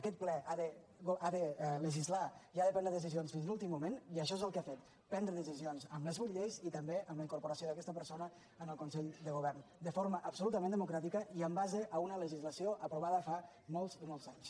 aquest ple ha de legislar i ha de prendre decisions fins a l’últim moment i això és el que ha fet prendre decisions amb les vuit lleis i també amb la incorporació d’aquesta persona en el consell de govern de forma absolutament democràtica i en base a una legislació aprovada fa molts i molts anys